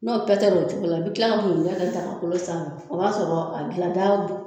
N'o pɛtɛra o cogo la i bi kila ka bugujɛ kɛ daga kolon sanfɛ o b'a sɔrɔ a gilanda d